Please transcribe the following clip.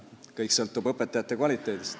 Kõik sõltub õpetajate kvaliteedist.